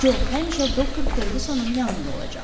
Co həmişə doktor Ferqusonun yanında olacaq.